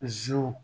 Ziw